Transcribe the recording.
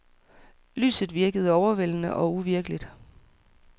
Lyset virkede overvældende og uvirkeligt.